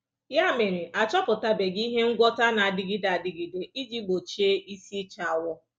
Ya mere, a chọpụtabeghị ihe ngwọta na-adịgide adịgide iji gbochie isi ịcha awọ.